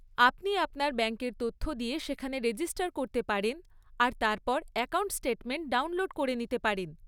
আপনি আপনার ব্যাংকের তথ্য দিয়ে সেখানে রেজিস্টার করতে পারেন আর তারপর অ্যাকাউন্ট স্টেটমেন্ট ডাউনলোড করে নিতে পারেন।